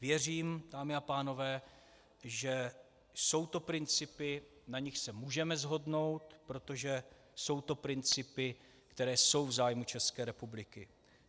Věřím, dámy a pánové, že jsou to principy, na nichž se můžeme shodnout, protože jsou to principy, které jsou v zájmu České republiky.